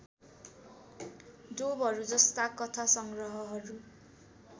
डोबहरूजस्ता कथा सङ्ग्रहहरू